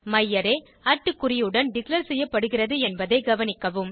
மையாரே குறியுடன் டிக்ளேர் செய்யப்படுகிறது என்பதை கவனிக்க